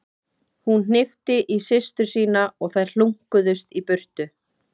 Hún hnippti í systur sína og þær hlunkuðust í burtu.